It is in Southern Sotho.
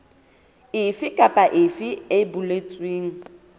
efe kapa efe e boletsweng